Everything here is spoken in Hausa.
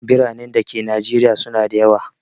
Biranen da ke najeriya su na da yawa